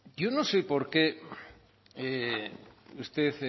yo no sé por qué usted